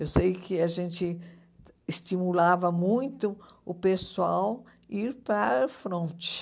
Eu sei que a gente estimulava muito o pessoal ir para o fronte.